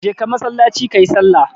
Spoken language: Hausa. Je ka masallaci kayi sallah!